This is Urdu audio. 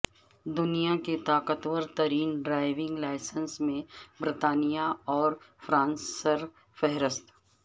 دنیا کے طاقتورترین ڈرائیونگ لائسنس میں برطانیہ اور فرانس سر فہرست